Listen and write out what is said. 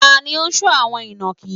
Ta ni ó ń sọ́ àwọn inakí?